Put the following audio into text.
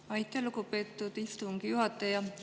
Aitäh, lugupeetud istungi juhataja!